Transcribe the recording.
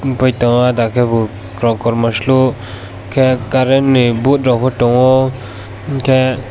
himpai tongo ada khebo kormo slukhe current ni board pho tongo hinkhe.